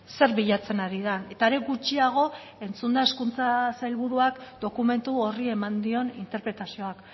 zer bilatzen ari den eta are gutxiago entzunda hezkuntza sailburuak dokumentu horri eman dion interpretazioak